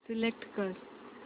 select कर